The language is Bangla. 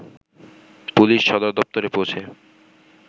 পুলিশ সদর দপ্তরে পৌঁছে